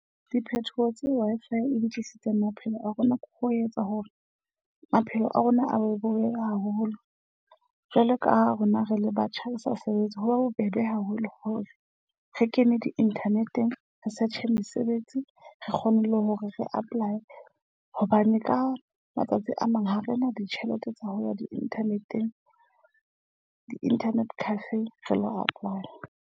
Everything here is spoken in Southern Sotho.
Diphethoho tse Wi-Fi e di tlisitseng maphelong a rona ke ho etsa hore maphelo a rona a be bobebe haholo. Jwalo ka ha rona re le batjha le sa sebetse. Ho ba bobebe haholo hore re kene di-inthaneteng research-e mesebetsi. Re kgone le hore re apply. Hobane ka matsatsi a mang ha rena ditjhelete tsa ho lefa di-internet-eng di internet cafe re lo apply-a.